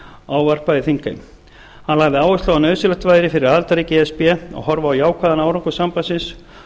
ávarpaði þingheim hann lagði áherslu á að nauðsynlegt væri fyrir aðildarríki e s b að horfa á jákvæðan árangur sambandsins